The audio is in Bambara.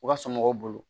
U ka somɔgɔw bolo